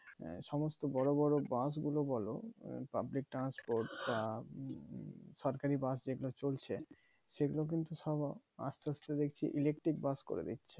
আহ সমস্ত বড়ো বড়ো বাস গুলো বলো public transport বা সরকারি বাস যেগুলো চলছে সেগুলো কিন্তু সব আস্তে আস্তে দেখছি electric করে দিচ্ছে